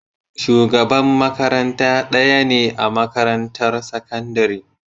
Shugaban makaranta ɗaya ne a makarantar sakandare.